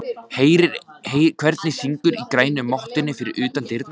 Heyrir hvernig syngur í grænu mottunni fyrir utan dyrnar.